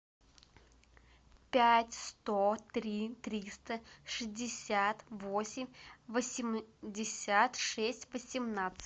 пять сто три триста шестьдесят восемь восемьдесят шесть восемнадцать